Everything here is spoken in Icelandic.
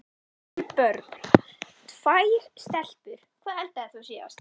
Giftur Börn: Tvær stelpur Hvað eldaðir þú síðast?